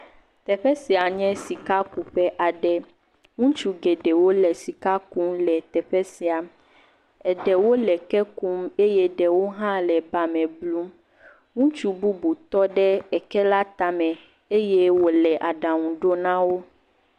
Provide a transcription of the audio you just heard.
Teƒe sia nye sikakuƒe aɖe. Ŋutsu geɖewo le sika kum le teƒe sia. Eɖewo leeke kum eye ɖewo hã le eba me blum. Ŋutsu bubu tɔ ɖe eke la tame eye wole aɖaŋu ɖom na wo.